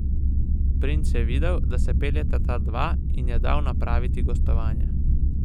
Princ je videl, da se peljeta ta dva, in je dal napraviti gostovanje.